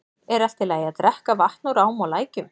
Er í lagi að drekka vatn úr ám og lækjum?